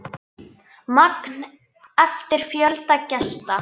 Magn eftir fjölda gesta.